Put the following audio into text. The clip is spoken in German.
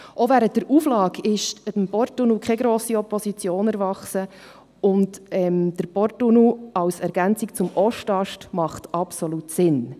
Auch während der Auflage ist dem Porttunnel keine grosse Opposition erwachsen, und der Porttunnel als Ergänzung zum Ostast macht absolut Sinn.